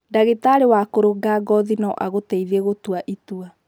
Ndagĩtarĩ wa kũrũnga ngothi no agũteithie gũtua itua.